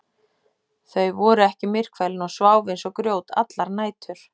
Þau voru ekki myrkfælin og sváfu eins og grjót allar nætur.